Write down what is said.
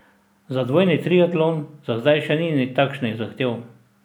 Za dvojni triatlon za zdaj še ni takšnih zahtev.